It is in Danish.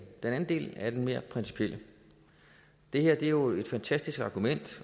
den anden del er det mere principielle det er jo et fantastisk argument